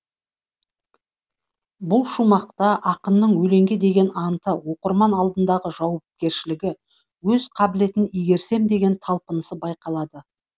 бұл шумақта ақынның өлеңге деген анты оқырман алдындағы жауапкершілігі өз қабілетін игерсем деген талпынысы байқалады